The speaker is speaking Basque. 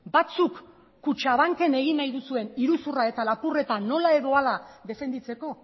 batzuk kutxabanken egin nahi duzuen iruzurra eta lapurreta nola edo hala defenditzeko